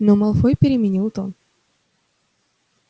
но малфой переменил тон